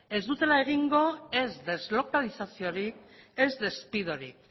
ez dutela egingo ez deslokalizaziorik ez despidorik